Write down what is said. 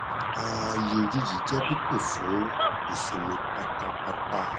ààyè òjijì jẹ pípé fún ìsinmi pátápátá